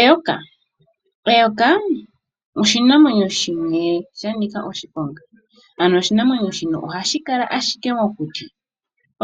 Eyoka. Eyoka oshinamwenyo shimwe sha nika oshiponga, ano oshinamwenyo shino ohashi kala ashike mokuti,